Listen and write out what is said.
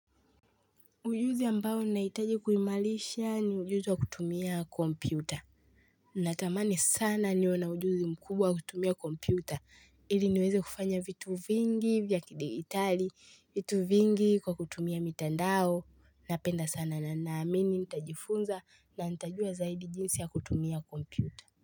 Ujuzi ambao naitaji kuhimalisha ni ujuzi wa kutumia kompyuta. Natamani sana niwe na ujuzi mkubwa kutumia kompyuta. Ili niweze kufanya vitu vingi vya kidigitali, vitu vingi kwa kutumia mitandao. Napenda sana na naamini nitajifunza na nitajua zaidi jinsi ya kutumia kompyuta.